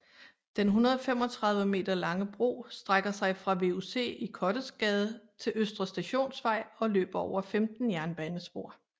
Den 135 meter lange bro strækker sig fra VUC i Kottesgade til Østre Stationsvej og løber over 15 jernbanespor